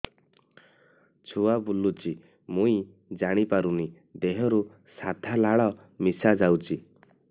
ଛୁଆ ବୁଲୁଚି ମୁଇ ଜାଣିପାରୁନି ଦେହରୁ ସାଧା ଲାଳ ମିଶା ଯାଉଚି